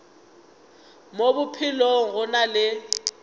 mo bophelong go na le